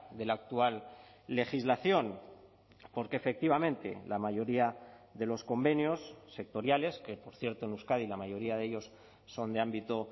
de la actual legislación porque efectivamente la mayoría de los convenios sectoriales que por cierto en euskadi la mayoría de ellos son de ámbito